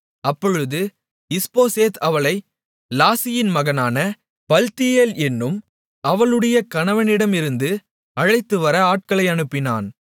அப்பொழுது இஸ்போசேத் அவளை லாயிசின் மகனான பல்த்தியேல் என்னும் அவளுடைய கணவனிடமிருந்து அழைத்துவர ஆட்களை அனுப்பினான்